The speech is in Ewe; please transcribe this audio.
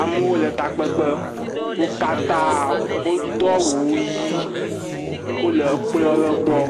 Amewo le takpekpe wo katã wodo awu ʋi, wole kplɔ lɔbɔɔ,